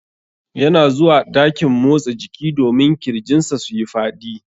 Yana zuwa dakin motsa jiki domin kirjin sa suyi Fadi.